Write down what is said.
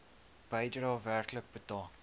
bedrae werklik betaal